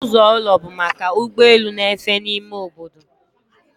Ọnụ ụzọ ụlọ bụ maka ụgbọ elu na-efe n'ime obodo